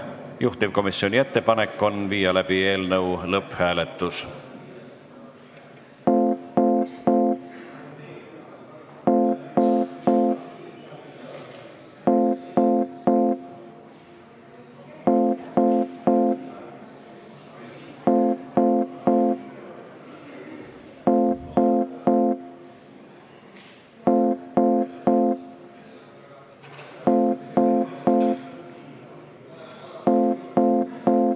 Juhtivkomisjoni ettepanek on viia läbi eelnõu lõpphääletus.